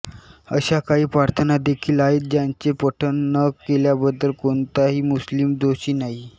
अशा काही प्रार्थना देखील आहेत ज्यांचे पठण न केल्याबद्दल कोणताही मुस्लिम दोषी नाही